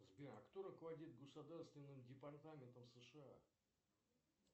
сбер а кто руководит государственным департаментом сша